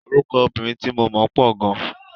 Orúkọ obìnrin tí mo mọ̀ pọ̀ gan.